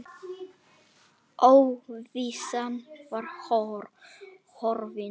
Óvissan var horfin.